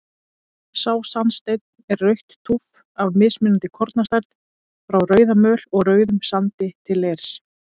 Sá sandsteinn er rautt túff af mismunandi kornastærð, frá rauðamöl og rauðum sandi til leirs.